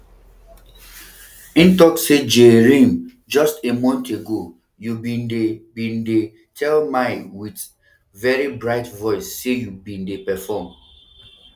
im tok say jae rim just a month ago you bin dey bin dey tell my wit very bright voice say you bin dey perform